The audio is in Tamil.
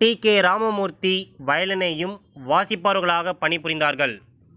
டி கே ராமமூர்த்தி வயலினையும் வாசிப்பவர்களாக பணிபுரிந்தார்கள்